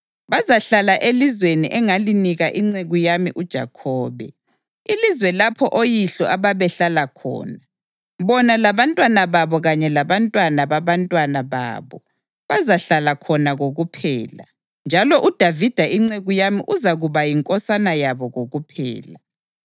Bazahlala elizweni engalinika inceku yami uJakhobe, ilizwe lapho oyihlo ababehlala khona. Bona labantwana babo kanye labantwana babantwana babo bazahlala khona kokuphela, njalo uDavida inceku yami uzakuba yinkosana yabo kokuphela.